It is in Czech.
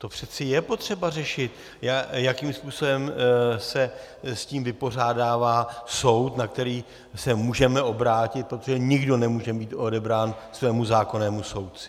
To přece je potřeba řešit, jakým způsobem se s tím vypořádává soud, na který se můžeme obrátit, protože nikdo nemůže být odebrán svému zákonnému soudci.